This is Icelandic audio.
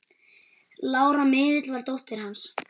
Lára miðill var dóttir hans.